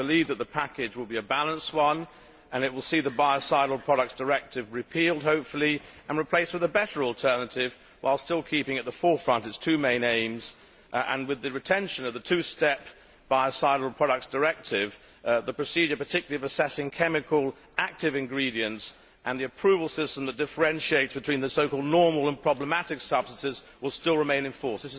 I believe that the package will be a balanced one, and it will see the Biocidal Products Directive repealed, hopefully, and replaced with a better alternative, while still keeping at the forefront its two main aims. In addition, with the retention of the two step Biocidal Products Directive, the procedure particularly of assessing chemical active ingredients and the approval system that differentiates between the so called normal' and problematic' substances will still remain in force.